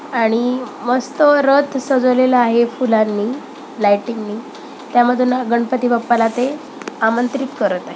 आणि मस्त रथ सजवलेलं आहे फुलांनी लाईटिंग नि त्यामधून गणपती बाप्पाला ते आमंत्रित करत आहेत.